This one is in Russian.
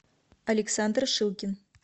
александр шилкин